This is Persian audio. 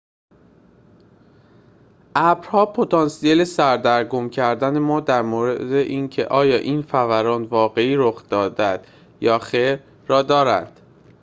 ابرها پتانسیل سردرگم کردن ما در مورد اینکه آیا یک فوران واقعی رخ داده می‌دهد یا خیر را دارند